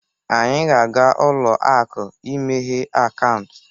Anyị ga-aga ụlọ akụ imeghe akaụntụ